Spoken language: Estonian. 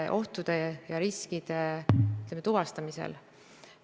Ja kuna korraldamine käib EAS-i kaudu, hakkab EAS regulaarselt andma ülevaateid, mis etapp neil käsil on.